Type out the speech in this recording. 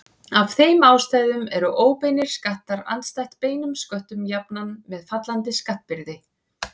Af þeim ástæðum eru óbeinir skattar andstætt beinum sköttum jafnan með fallandi skattbyrði.